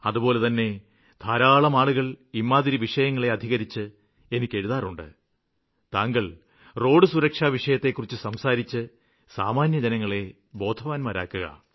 അതുപോലെതന്നെ ധാരാളം ആളുകള് ഇമ്മാതിരി വിഷയങ്ങളെ അധികരിച്ച് എനിയ്ക്കെഴുതാറുണ്ട് താങ്കള് റോഡുസുരക്ഷാ വിഷയങ്ങളെക്കുറിച്ച് സംസാരിച്ച് സാമാന്യജനങ്ങളെ ബോധവാന്മാരാക്കുക